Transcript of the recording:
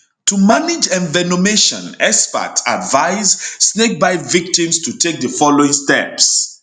to manage envenomation experts advice snakebite victims to take di following steps